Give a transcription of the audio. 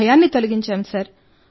వారి భయాన్ని తొలగించాం